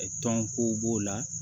Tɔn kow b'o la